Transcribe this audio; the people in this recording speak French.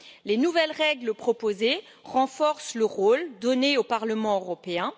Les nouvelles règles proposées renforcent le rôle donné au Parlement européen.